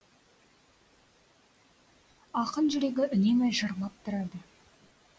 ақын жүрегі үнемі жырлап тұрады